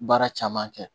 Baara caman kɛ